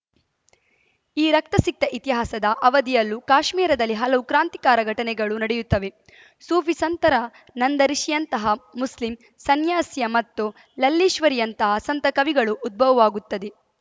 ಈ ರಕ್ತಸಿಕ್ತ ಇತಿಹಾಸದ ಅವಧಿಯಲ್ಲೂ ಕಾಶ್ಮೀರದಲ್ಲಿ ಹಲವು ಕ್ರಾಂತಿಕಾರ ಘಟನೆಗಳು ನಡೆಯುತ್ತವೆ ಸೂಫಿ ಸಂತರ ನಂದ ರಿಷಿಯಂತಹ ಮುಸ್ಲಿಂ ಸನ್ಯಾಸಿಯ ಮತ್ತು ಲಲ್ಲೇಶ್ವರಿಯಂತಹ ಸಂತ ಕವಿಗಳ ಉದ್ಭವವಾಗುತ್ತದೆ